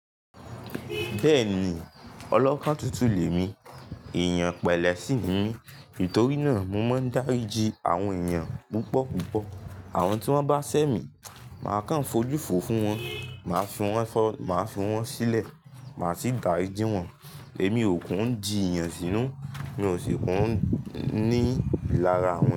Bẹ́ẹ̀ni, ọlọ́kàn tuntun lè mi, èèyàn pẹ̀lẹ́sì ni mi nítorí náà mo máa ń dáríji àwọn èèyàn púpọ̀púpọ̀. Àwọn tí wọ́n bá sẹ́ mi, màá kàn fojú fo fún wọn, màá fún wọn fọ, màá fún wọn sílẹ̀, màá sì dáríji wọn. Èmi ò kún ń di'ìyàn sínú, mi ò sì kún ní ìlara wọn.